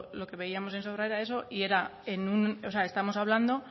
lo que veíamos en sobra era eso estamos hablando